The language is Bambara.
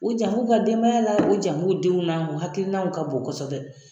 U jan b'u ka denbaya la, u jan b'u denw na, u hakili n'anw ka bon kɔsɔbɛ.